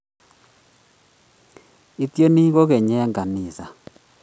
Ityeni kogeny eng kanisa